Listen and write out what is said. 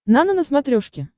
нано на смотрешке